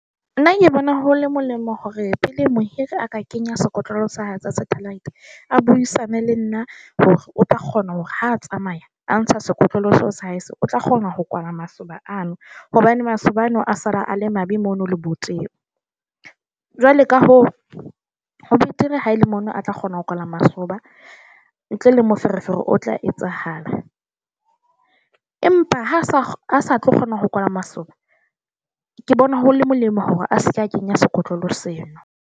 Nna ke bona ho le molemo hore pele mohiri a ka kenya sekotlolo sa hae sa satellite a buisane le nna hore o tla kgona hore ha tsamaya a ntsha sekotlolo sa hae se o tla kgona ho kwala masoba ano hobane masoba ano a sala a le mabe mono lebotebong. Jwale ka hoo ho betere ha ele mono a tla kgona ho kwala masoba ntle le moferefere, o tla etsahala. Empa ha sa tlo kgona ho kwala masoba ke bona ho le molemo hore a se ke a kenya sekotlolo seno.